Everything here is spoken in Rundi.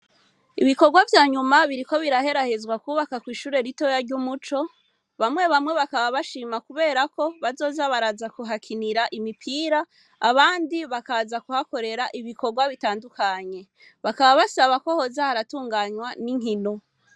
Ibikorwa vyanyuma biriko biraherahezwa kwubakwa kw'ishure ritoya ry'umuco, bamwe bamwe bakaba bashima kubera ko bazoza baraza kuhakinira imupira, abandi bakaza kuhakorera ibikorwa bitandukanye, bakaba abasaba ko hoza haratunganywa n'inkino.